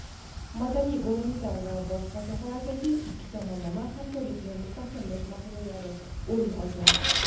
madaniy-gumanitar va boshqa sohalardagi ikki tomonlama hamkorlikni mustahkamlash masalalari o‘rin olgan.